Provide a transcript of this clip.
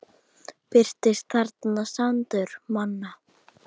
Birtist þarna sandur manna.